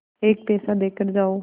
एक पैसा देकर जाओ